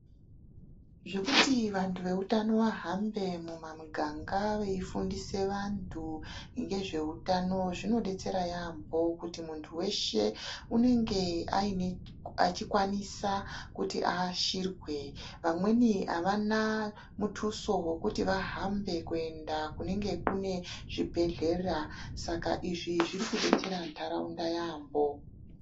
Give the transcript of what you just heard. Zvekuti vantu veutano vahambe mumamiganga veifundisa vantu ngezveutano, zvinodetsera yaambo kuti muntu weshe unenge aine achikwanisa kuti aashirwe. Vamweni havana mutuso wekuti vahambe kuenda kunenge kune zvibhedhlera, saka izvi zviri kudetsera ntaraunda yaambo.